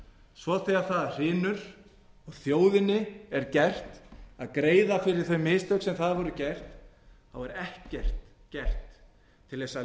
svo þegar það hrynur og þjóðinni er gert að greiða fyrir þau mistök sem þar voru gerð er ekkert gert til þess að